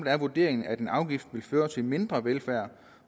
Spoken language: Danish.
er vurderingen at en afgiftvil føre til mindre velfærd